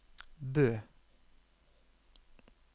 Bø